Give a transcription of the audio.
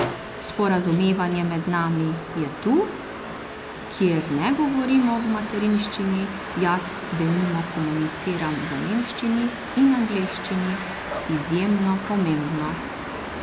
Sporazumevanje med nami je tu, kjer ne govorimo v materinščini, jaz denimo komuniciram v nemščini in angleščini, izjemno pomembno.